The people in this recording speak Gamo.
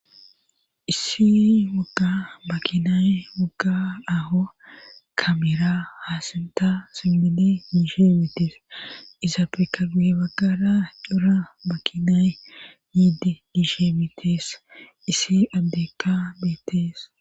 Issi wagga makinay wogga aho kameera haasinta simmidi miishe mittees iza peka gu baggara cora makinay miidi diishe mitees issi addekka beettees.